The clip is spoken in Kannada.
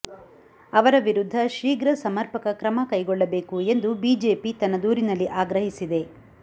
ಅವರ ವಿರುದ್ಧ ಶೀಘ್ರ ಸಮರ್ಪಕ ಕ್ರಮ ಕೈಗೊಳ್ಳಬೇಕು ಎಂದು ಬಿಜಿಪಿ ತನ್ನ ದೂರಿನಲ್ಲಿ ಆಗ್ರಹಿಸಿದೆ